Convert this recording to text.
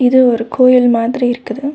இது ஒரு கோயில் மாதிரி இருக்குது.